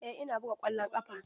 Eh ina buga ƙwallon ƙafa.